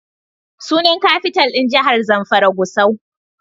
Sunan Kafital ɗin jahar Zamfara Gusau.